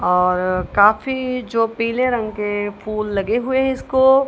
और काफी जो पीले रंग के फूल लगे हुएं है इसको।